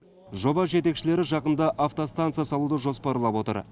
жоба жетекшілері жақында автостанция салуды жоспарлап отыр